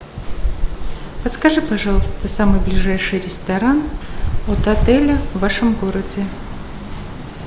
подскажи пожалуйста самый ближайший ресторан от отеля в вашем городе